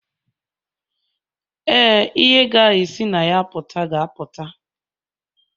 Ee, ihe ga-esi na ya pụta ga-apụta.